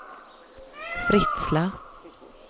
Fritsla